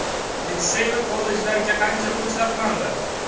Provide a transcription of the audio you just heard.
Litsey va kollejlarga qancha pul sarflandi.